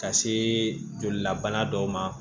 Ka se jolilabana dɔw ma